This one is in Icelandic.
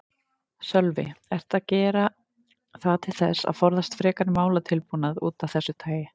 Sölvi: Ertu að gera það til þess að forðast frekari málatilbúnað af þessu tagi?